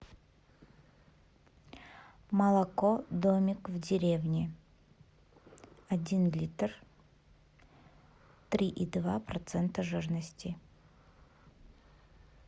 молоко домик в деревне один литр три и два процента жирности